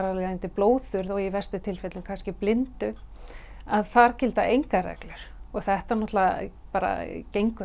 blóðþurrð og í verstu tilfellunum blindu að þar gilda engar reglur og þetta náttúrulega bara gengur